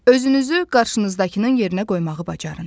Özünüzü qarşınızdakının yerinə qoymağı bacarın.